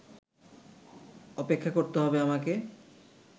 অপেক্ষা করতে হবে আমাকে